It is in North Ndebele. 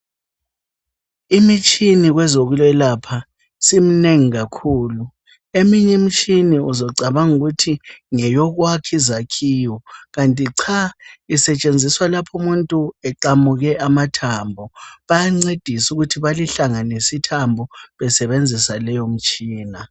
Imisthini kwezokwelapha siminengi kakhulu. Eminyimitshini uzocabangukuthi ngeyokwakha izakhiwo kanti cha , isetshenziswa lapho umuntu eqamuke amathambo. Bayancedisa ukuthi balihlanganisi thambo besebenzisa leyo mitshina.